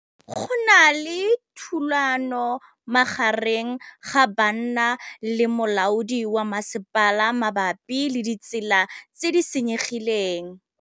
Go na le thulanô magareng ga banna le molaodi wa masepala mabapi le ditsela tse di senyegileng.